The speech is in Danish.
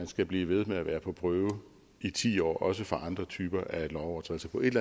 skal blive ved med at være på prøve i ti år også for andre typer af lovovertrædelser på et